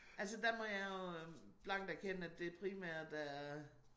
Altså der må jeg jo øh blankt erkende at det primært er